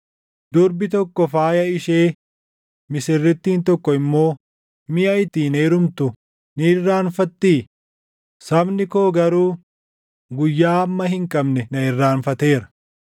Durbi tokko faaya ishee, misirrittiin tokko immoo miʼa ittiin heerumtu ni irraanfattii? Sabni koo garuu, guyyaa hamma hin qabne na irraanfateera.